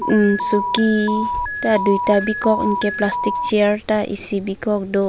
suki ta duita bikok anke plastic chair ta isi bikok do.